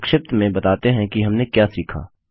संक्षिप्त में बताते हैं कि हमने क्या सीखा